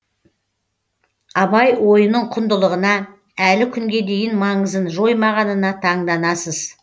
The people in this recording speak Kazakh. абай ойының құндылығына әлі күнге дейін маңызын жоймағанына таңданасыз